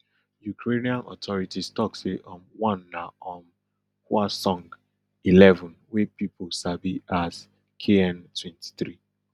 ukrainian authorities tok say um one na um hwasong eleven wey pipo sabi as kn twenty-three